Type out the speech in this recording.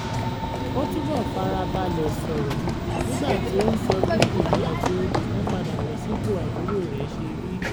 ó túbọ̀ fara balẹ̀ sọrọ̀ nígbà tí ó ń sọ bí ìrìn àjò ìmúpadàbọ̀sípò àbúrò rẹ̀ ṣe rí